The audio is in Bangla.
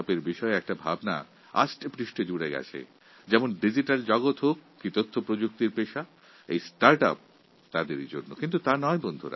স্টার্ট ইউপি প্রকল্প সম্পর্কে আমাদের বদ্ধমূল এক ধারণা রয়েছে যে এই প্রকল্পটি ডিজিটাল ভোর্ল্ড কিংবা আইটি কর্মীদের জন্য কিন্তু তা নয়